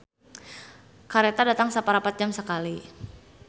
"Kareta datang saparapat jam sakali"